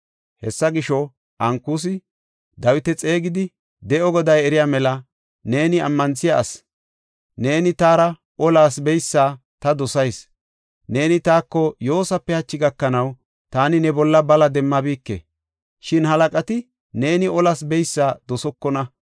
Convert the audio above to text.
Hessa gisho, Ankusi Dawita xeegidi, “De7o Goday eriya mela, neeni ammanthiya asi; neeni taara olas beysa ta dosayis. Neeni taako yoosape hachi gakanaw taani ne bolla bala demmabike. Shin halaqati neeni olas beysa dosokona.